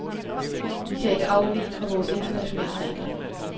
Vi kan ikke afvige fra vores internationale regler.